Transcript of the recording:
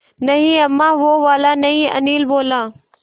नहीं अम्मा वो वाला नहीं अनिल बोला